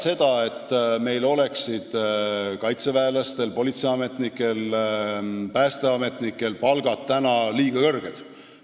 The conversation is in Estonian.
Kindlasti ei väida ma seda, nagu kaitseväelaste, politseiametnike ja päästeametnike palgad oleksid liiga kõrged.